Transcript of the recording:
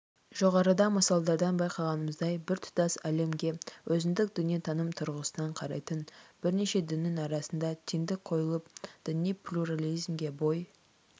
жоғарыда мысалдардан байқағанымыздай біртұтас әлемге өзіндік дүниетаным тұрғысынан қарайтын бірнеше діннің арасына теңдік қойылып діни плюрализмге бой